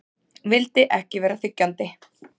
Vildi ekki vera þiggjandi.